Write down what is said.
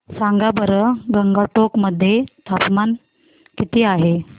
सांगा बरं गंगटोक मध्ये तापमान किती आहे